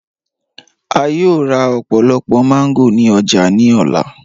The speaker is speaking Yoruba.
A yòò rá ọ̀pọ̀lọ̀pọ̀ mango ni ọ̀jà ni ọlá.